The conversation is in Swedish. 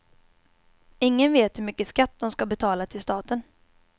Ingen vet hur mycket skatt de ska betala till staten.